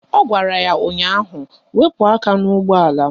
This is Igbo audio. Ọ gwara ya ụnyaahụ "Wepu aka n'ụgbọala m"!